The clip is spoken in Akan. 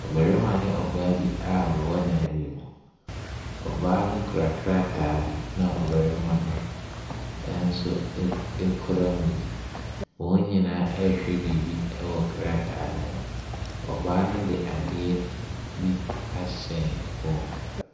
Barima ne ɔbaa bi a wɔwɔ dan bi mu. Ɔbaa no kura krataa bi na ɔbarima no nso kura mu bi. Wɔn nyinaa ɛrehwɛ biribi wɔ krataa ne so. Ɔbaa ne de adeɛ bi ahyɛ ne kɔn mu.